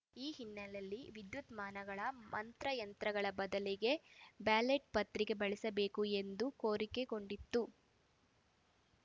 ಈ ಹಿನ್ನೆಲೆಯಲ್ಲಿ ವಿದ್ಯುನ್ಮಾನ ಮಂತ್ರ ಯಂತ್ರಗಳ ಬದಲಿಗೆ ಬ್ಯಾಲೆಟ್‌ ಪತ್ರಿಕೆ ಬಳಸಬೇಕು ಎಂದು ಕೋರಿಕೊಂಡಿತ್ತು